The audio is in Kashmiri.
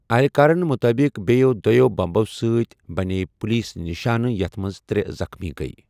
اہلِکارن مُطٲبِق بیٚیو دۄیو بمبو سۭتۍ بَنے پولیس نشانہ یتھ منٛز ترٛےٚ زخمی گیۍ۔